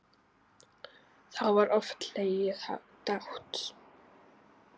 Þá var oft hlegið dátt.